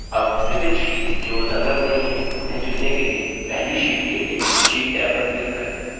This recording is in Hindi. tab विविध sheets जो संलग्न नहीं है उन्हें चुनने के लिए पहली sheets के लिए sheets टैब पर click करें